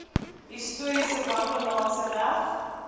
historiese wanbalanse reg